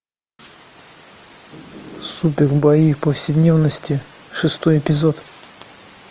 супер бои в повседневности шестой эпизод